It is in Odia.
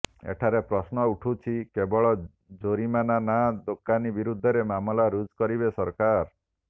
ଏଠାରେ ପ୍ରଶ୍ନ ଉଠୁଛି କେବଳ ଜୋରିମାନା ନାଁ ଦୋକାନୀ ବିରୋଧରେ ମାମଲା ରୁଜୁ କରିବେ ସରକାର